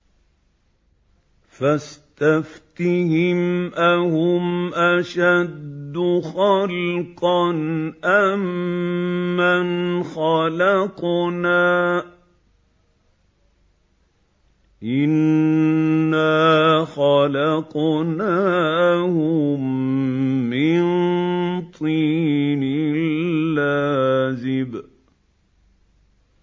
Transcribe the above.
فَاسْتَفْتِهِمْ أَهُمْ أَشَدُّ خَلْقًا أَم مَّنْ خَلَقْنَا ۚ إِنَّا خَلَقْنَاهُم مِّن طِينٍ لَّازِبٍ